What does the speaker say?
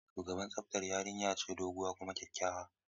Shugaban tsaftar yarinya ce doguwa kuma kyakkyawa.